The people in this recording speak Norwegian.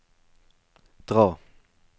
dra